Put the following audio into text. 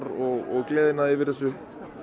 og gleðina yfir þessu